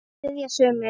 spyrja sumir.